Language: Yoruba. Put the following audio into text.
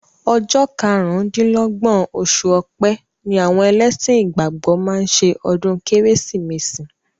Ọjọ́ karùn-dín-lọ́gbọ̀n oṣù ọ̀pẹ ni àwọn ẹlẹ́sìn ìgbàgbọ́ máa ń ṣe ọdún Kérésìmesì